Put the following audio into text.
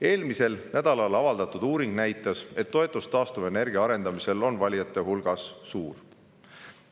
Eelmisel nädalal avaldatud uuring näitas, et toetus taastuvenergia arendamisele on valijate hulgas suur.